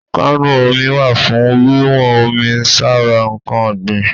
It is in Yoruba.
Kánù omi wà fún wíwọ́n omi sára ǹkan ọ̀gbìn.